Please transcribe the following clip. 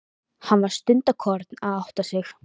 Hann var stundarkorn að átta sig.